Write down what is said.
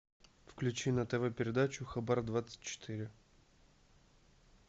включи на тв передачу хабар двадцать четыре